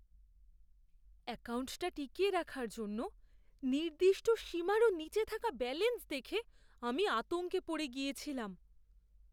অ্যাকাউন্টটা টিকিয়ে রাখার জন্য নির্দিষ্ট সীমারও নীচে থাকা ব্যালেন্স দেখে আমি আতঙ্কে পড়ে গিয়েছিলাম।